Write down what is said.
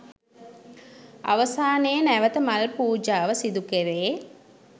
අවසානයේ නැවත මල් පූජාව සිදු කෙරේ.